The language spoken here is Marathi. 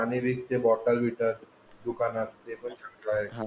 पाणी विकते बॉटल बिटल दुकानात ते पण चांगला आहे.